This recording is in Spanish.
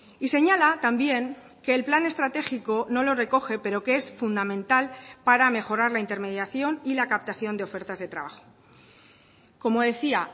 y señala también que el plan estratégico no lo recoge pero que es fundamental para mejorar la intermediación y la captación de ofertas de trabajo como decía